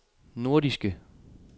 nordiske